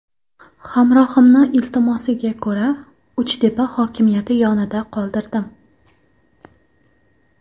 Hamrohimni iltimosiga ko‘ra, Uchtepa hokimiyati yonida qoldirdim.